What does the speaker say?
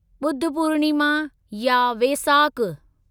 ॿुध पूर्णिमा या वेसाक